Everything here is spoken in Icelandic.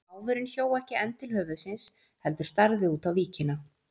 Máfurinn hjó ekki enn til höfuðsins heldur starði út á víkina.